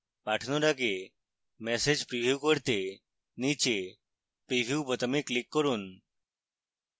পাঠানোর আগে message preview করতে নীচে preview বোতামে click করুন